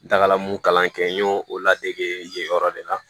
N dagala mun kalan kɛ n y'o o ladege yen yen yɔrɔ de la